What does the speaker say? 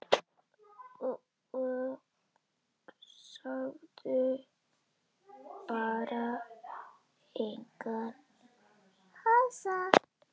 Og sagði bara: Engan asa.